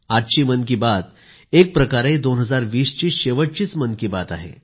आजची मन की बात ही एकप्रकारे 2020 ची शेवटची मन की बात आहे